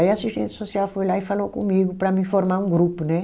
Aí, a assistente social foi lá e falou comigo para mim formar um grupo, né?